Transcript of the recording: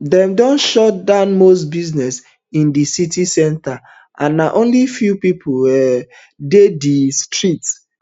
dem don shut down most business in di city centre and na only few pipo um dey di um streets